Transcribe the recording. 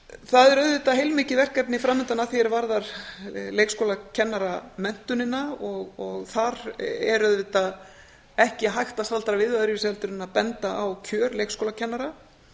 það er auðvitað heilmikið verkefni framundan að því er varðar leikskólakennaramenntunina og þar er auðvitað ekki hægt að staldra við öðruvísi heldur en að benda á kjör leikskólakennara